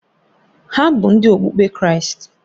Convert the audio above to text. Ha bụ Ndị okpukpe Kraịst